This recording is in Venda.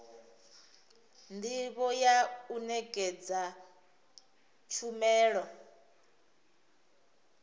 ndivho ya u nekedza tshumelo